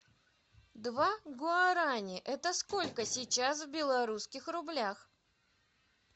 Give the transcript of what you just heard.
два гуарани это сколько сейчас в белорусских рублях